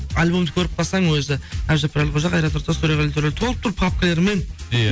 альбомды көріп қалсаң өзі әбдіжаппар әлқожа қайрат нұртас төреғали төрәлі толып тұр папкаларымен иә